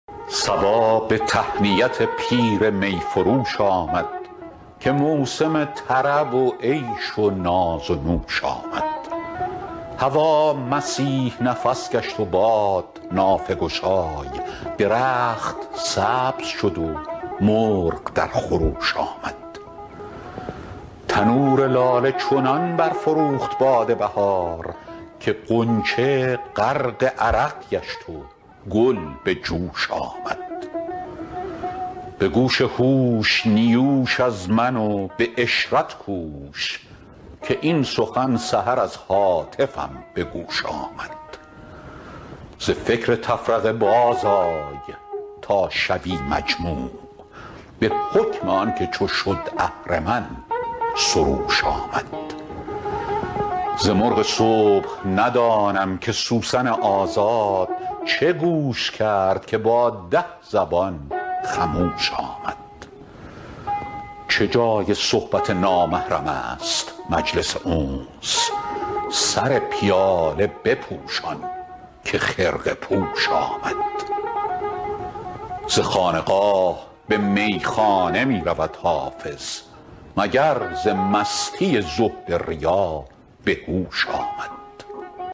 صبا به تهنیت پیر می فروش آمد که موسم طرب و عیش و ناز و نوش آمد هوا مسیح نفس گشت و باد نافه گشای درخت سبز شد و مرغ در خروش آمد تنور لاله چنان برفروخت باد بهار که غنچه غرق عرق گشت و گل به جوش آمد به گوش هوش نیوش از من و به عشرت کوش که این سخن سحر از هاتفم به گوش آمد ز فکر تفرقه بازآی تا شوی مجموع به حکم آن که چو شد اهرمن سروش آمد ز مرغ صبح ندانم که سوسن آزاد چه گوش کرد که با ده زبان خموش آمد چه جای صحبت نامحرم است مجلس انس سر پیاله بپوشان که خرقه پوش آمد ز خانقاه به میخانه می رود حافظ مگر ز مستی زهد ریا به هوش آمد